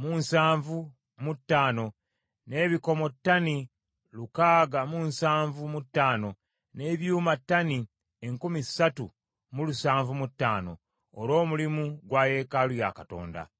mu nsanvu mu ttaano, n’ebikomo ttani lukaaga mu nsanvu mu ttaano, n’ebyuma ttani enkumi ssatu mu lusanvu mu ataano, olw’omulimu gwa yeekaalu ya Katonda.